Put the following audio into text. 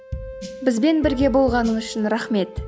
бізбен бірге болғаныңыз үшін рахмет